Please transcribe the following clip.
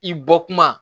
I bɔ kuma